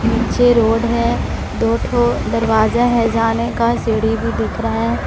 नीचे रोड है दो ठो दरवाजा है जाने का सीढ़ी भी दिख रहा है।